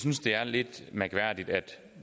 synes det er lidt mærkværdigt